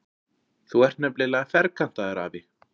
Þú ert nefnilega ferkantaður, afi.